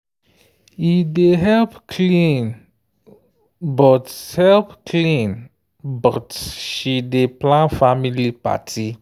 he dey help clean but help clean but she dey plan family party.